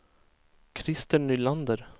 Krister Nylander